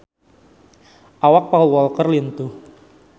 Awak Paul Walker lintuh